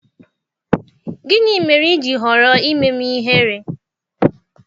Gịnị mere i ji họrọ ime m ihere?